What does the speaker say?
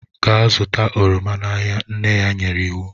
Gaa zụta oroma n'ahịa, nne ya nyere iwu.